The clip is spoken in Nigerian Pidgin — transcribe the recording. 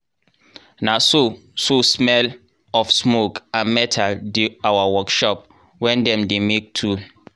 na so so smell of smoke and metal dey our workshop wen dem dey make tool.